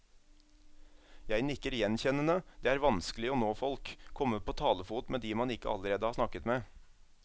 Jeg nikker gjenkjennende, det er vanskelig å nå folk, komme på talefot med de man ikke allerede har snakket med.